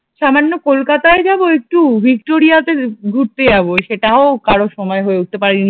সামান্য কলকাতায় যাবো একটু ভিক্টোরিয়া তে ঘুরতে যাব সেটাও আর কারো সময় হয়ে উঠতে পারেনি